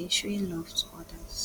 in showing love to odas